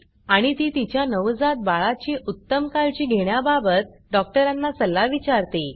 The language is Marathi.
आणि ती तिच्या नवजात बाळा ची उत्तम काळजी घेण्याबाबत डॉक्टरांना सल्ला विचारते